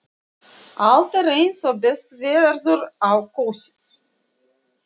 Allt er eins og best verður á kosið.